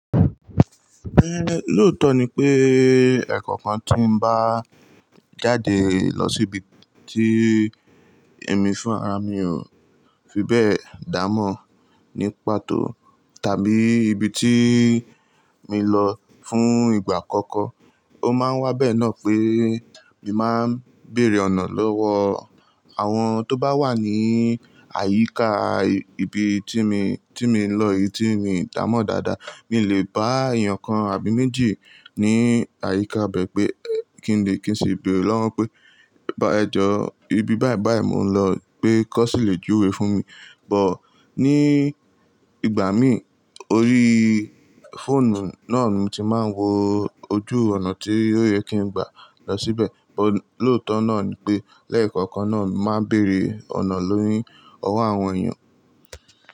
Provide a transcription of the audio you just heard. Ẹ lóòótọ́ ni pé ẹ̀ẹ̀kọ̀kan tí n bá jáde lọ síbi tí èmi fún ara mi ò fi bẹ́ẹ̀ dá mọ̀ nípa tó tàbí ibi tí mi lọ fún ìgbà àkọ́kọ́, ó máa ń wá bẹ́ẹ̀ náà pé mi máa ń bèèrè ọ̀nà lọ́wọ́ àwọn tó bá wà ní àyíká ibi tí mi, tí mi ń lọ, ibi tí mi dà mọ̀ dáadáa. Mi lè bá èèyàn kan àbí méjì ní àyíká bẹ́ẹ̀ pé kí n lè kí n sì béèrè lọ́wọ́ pé, "bá ẹ jọ, ibi báyìí báyìí mò ń lọ gbé kọ́ ṣì lè júwe fún mi." But ní ìgbà mi orí fóònù náà ni tí máa ń wo ojú ọ̀nà tí ó yẹ kí n gbà lọ síbẹ̀. Ò lóòótọ́ náà ni pé lẹ́ẹ̀kọ̀kan náà máa ń bèèrè ọ̀nà lórí ọwọ́ àwọn èèyàn.